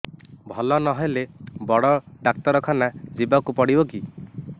ଭଲ ନହେଲେ ବଡ ଡାକ୍ତର ଖାନା ଯିବା କୁ ପଡିବକି